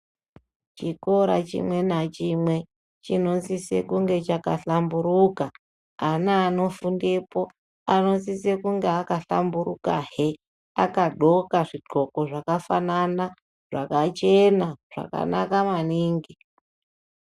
Chikora chimwe nachimwe chinosise kunge chakahlamburuka. Ana anofundepo anosise kunge akahlamburukahe akadhloka zvidhloko zvakafanana zvakachena zvakanaka maningi.